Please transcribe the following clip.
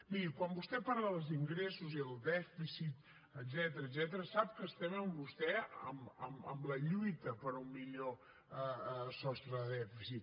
miri quan vostè parlar dels ingressos i del dèficit etcètera sap que estem amb vostè en la lluita per un millor sostre de dèficit